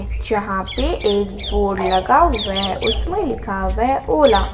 जहां पे एक बोर्ड लगा हुआ है उसमें लिखा हुआ ओला ।